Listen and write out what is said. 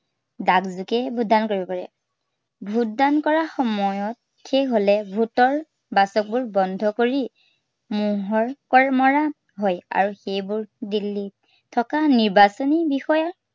ডাক যোগে vote দান কৰিব পাৰে। vote দান কৰা সময়ত শেষ হলে vote ৰ বাকচবোৰ বন্ধ কৰি, মোহৰ মৰা হয় আৰু সেইবোৰ দিল্লীত থকা নিৰ্বাচনী বিষয়াৰ